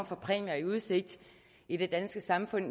for præmier i udsigt i det danske samfund